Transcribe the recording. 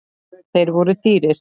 Þeir voru dýrir.